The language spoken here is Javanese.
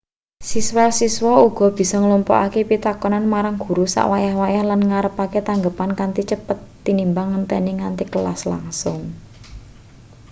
siswa-siswa uga bisa nglumpukke pitakonan marang guru sak wayah-wayah lan ngarepake tanggepan kanthi cepet tinimbang ngenteni nganti kelas langsung